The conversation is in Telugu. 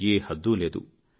ఏ హద్దూ లేదు